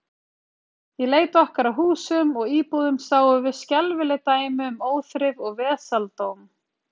Í leit okkar að húsum og íbúðum sáum við skelfileg dæmi um óþrif og vesaldóm.